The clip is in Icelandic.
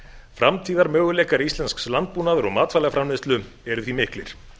framtíðarmöguleikar íslensks landbúnaðar og matvælaframleiðslu eru því miklir